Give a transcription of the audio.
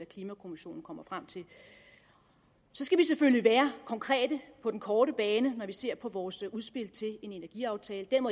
klimakommissionen kommer frem til så skal vi selvfølgelig være konkrete på den korte bane når vi ser på vores udspil til en energiaftale den